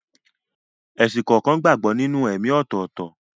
Ẹ̀sìn kọ̀ọ̀kan gbàgbọ́ nínú ẹ̀ẹ̀mí ọ̀tọ̀ọ̀tọ̀.